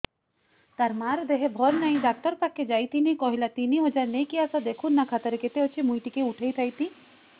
ତାର ମାର ଦେହେ ଭଲ ନାଇଁ ଡାକ୍ତର ପଖକେ ଯାଈଥିନି କହିଲା ତିନ ହଜାର ନେଇକି ଆସ ଦେଖୁନ ନା ଖାତାରେ କେତେ ଅଛି ମୁଇଁ ଟିକେ ଉଠେଇ ଥାଇତି